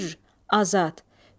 Hür, azad.